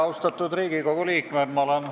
Austatud Riigikogu liikmed!